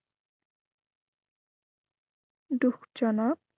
দুখ জনক।